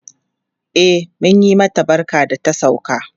E, mun yi mata barka da ta sauka.